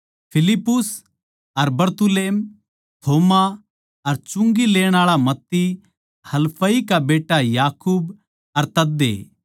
फिलिप्पुस अर बरतुल्मै थोमा अर चुंगी लेण आळा मत्ती हलफई का बेट्टा याकूब अर तद्दे